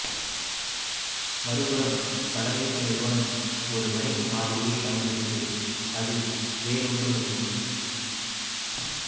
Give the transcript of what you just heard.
மறுபுறம் வட மேற்கு நிறுவனம் ஒரு வணிக மாதிரியைப் பயன்படுத்தியது அது வேறொன்றுமில்லை